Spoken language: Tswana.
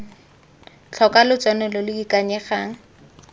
tlhoka lotseno lo lo ikanyegang